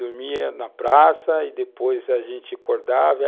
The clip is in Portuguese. Dormíamos na praça e, depois, a gente acordava.